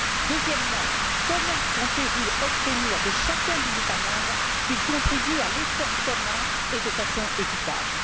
Deuxièmement, comment comptez vous obtenir de chacun des États membres qu'il contribue à l'effort commun et de façon équitable?